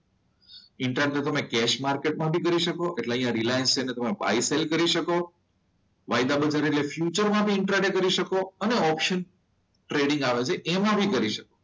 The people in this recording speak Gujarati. ઇન્ટ્રાટેડ તમે કેસ માર્કેટમાં પણ કરી શકો એટલે અહીંયા રિલાયન્સ છે એટલે તમે બાય સેલ કરી શકો. ફ્યુચર માં પણ ઇન્ટ્રા ડે કરી શકો અનેઓપ્શન ટ્રેડિંગ આવે છે એમાં બી કરી શકો.